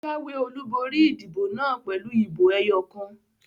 Ó jáwé olúborí ìdìbò naa pèlú ìbò ẹyọ kan